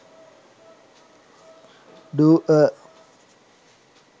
do a